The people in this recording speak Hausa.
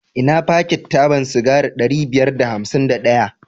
Ina fakit taban sigari ɗari biyar da hamsin da ɗaya?